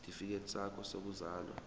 isitifikedi sakho sokuzalwa